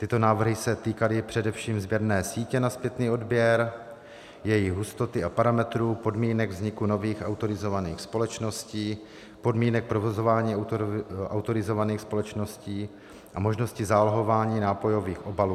Tyto návrhy se týkaly především sběrné sítě na zpětný odběr, její hustoty a parametrů, podmínek vzniku nových autorizovaných společností, podmínek provozování autorizovaných společností a možnosti zálohování nápojových obalů.